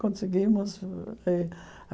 Conseguimos.